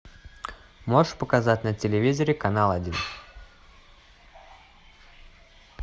можешь показать на телевизоре канал один